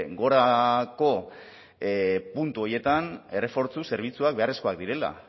gorako puntu horietan errefortzu zerbitzuak beharrezkoak direla